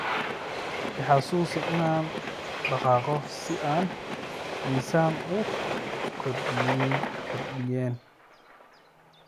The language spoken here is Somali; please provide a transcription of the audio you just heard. i xasuusi inaan dhaqaaqo si aan miisaan u kordheynin